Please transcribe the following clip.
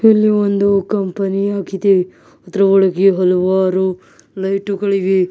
ಇಲ್ಲಿ ಒಂದು ಕಂಪನಿ ಆಗಿದೆ ಅದರ ಒಳಗೆ ಹಲವಾರು ಲೈಟುಗಳಿವೆ.